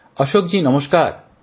অশোকজি নমস্কার